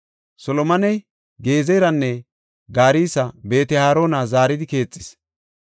Solomoney Gezeranne garsa Beet-Harona zaaridi keexis.